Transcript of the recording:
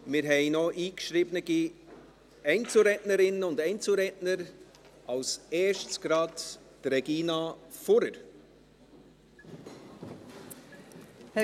Wir haben noch eingeschriebene Einzelrednerinnen und -redner, als Erste Regina Fuhrer.